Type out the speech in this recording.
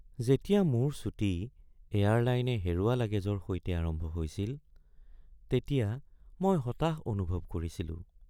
যেতিয়া মোৰ ছুটী এয়াৰলাইনে হেৰুৱা লাগেজৰ সৈতে আৰম্ভ হৈছিল, তেতিয়া মই হতাশ অনুভৱ কৰিছিলো।